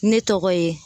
Ne tɔgɔ ye